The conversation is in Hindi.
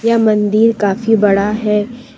यह मंदिर काफी बड़ा है।